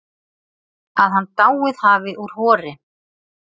Að hann dáið hafi úr hor